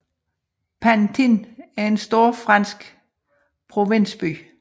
Pantin er en stor fransk provinsby